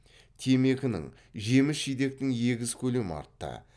темекінің жеміс жидектің егіс көлемі артты